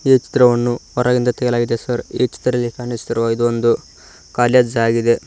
ಈ ಚಿತ್ರವನ್ನು ಹೊರಗಿಂದ ತೆಗೆಯಲಾಗಿದೆ ಸರ್ ಈ ಚಿತ್ರದಲ್ಲಿ ಕಾಣಿಸುತ್ತಿರುವ ಇದು ಒಂದು ಕಾಲೇಜ್ ಆಗಿದೆ.